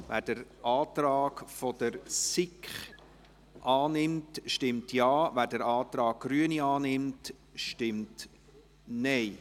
Wer den Antrag SiK annimmt, stimmt Ja, wer den Antrag Grüne annimmt, stimmt Nein.